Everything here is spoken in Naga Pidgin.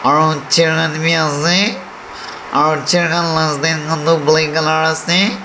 aro aro chair khan la stand toh black colour ase.